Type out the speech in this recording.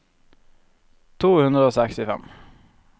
to hundre og sekstifem